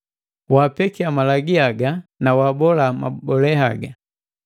Wapekia malagi haga na wabola mabole haga.